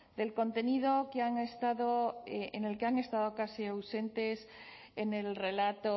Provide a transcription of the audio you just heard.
del contenido que han estado en el que han estado casi ausentes en el relato